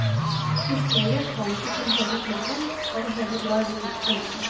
Historien holder ikke til hele filmen og det hele drar ut litt for lenge.